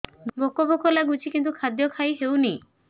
ଭୋକ ଭୋକ ଲାଗୁଛି କିନ୍ତୁ ଖାଦ୍ୟ ଖାଇ ହେଉନି